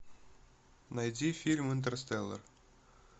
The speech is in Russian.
найди фильм интерстеллар